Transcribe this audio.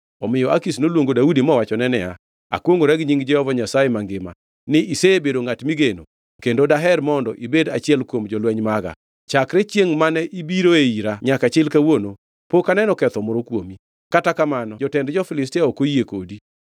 Omiyo Akish noluongo Daudi mowachone niya, “Akwongʼora gi nying Jehova Nyasaye mangima, ni isebedo ngʼat migeno kendo daher mondo ibed achiel kuom jolweny maga. Chakre chiengʼ mane ibiroe ira nyaka chil kawuono, pok aneno ketho moro kuomi, kata kamano jotend jo-Filistia ok oyie kodi.